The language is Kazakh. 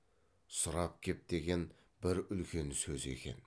сұрап кеп деген бір үлкен сөзі екен